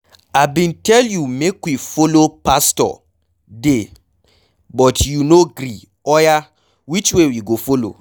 I bin tell you make we follow pastor de but you no gree, oya which way we go follow?